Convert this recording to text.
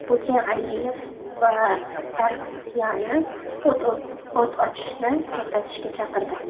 Putin Aliyev va Sargsyanni o‘t ochishni to‘xtatishga chaqirdi.